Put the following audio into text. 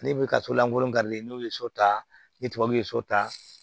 Ne bɛ ka so lankolon n'u ye so ta ni tubabuw ye so ta